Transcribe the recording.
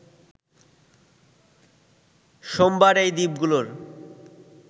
সোমবার এই দ্বীপগুলোর